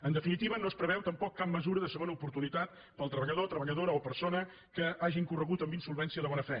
en definitiva no es preveu tampoc cap mesura de segona oportunitat per al treballador treballadora o persona que hagi incorregut en insolvència de bona fe